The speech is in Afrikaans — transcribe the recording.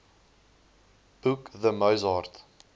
boek the mozart